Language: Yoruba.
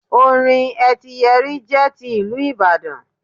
Orin etíyẹrí jẹ́ ti ìlú ìbàdàn